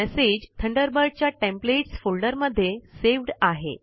message Thunderbird च्या templates folder मध्ये saved आहे